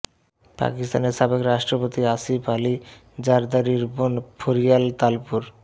পাকিস্তানের সাবেক রাষ্ট্রপতি আসিফ আলী জারদারীর বোন ফরিয়াল তালপুর